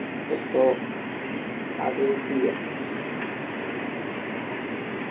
ഇതിപ്പോ അതെ ചെയ്യാ